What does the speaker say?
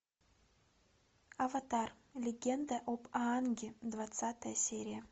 аватар легенда об аанге двадцатая серия